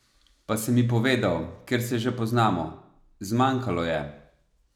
Pa sem ji povedal, ker se že poznamo: "zmanjkalo je".